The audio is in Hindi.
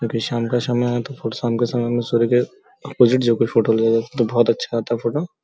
क्यूंकि शाम का समय है तो खुद शाम के समय में सूर्य के अपोजिट जोकि फोटो लिया जाता है तो बहोत अच्छा आता फोटो ।